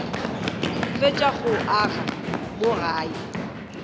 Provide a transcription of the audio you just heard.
fetša go aga mo gae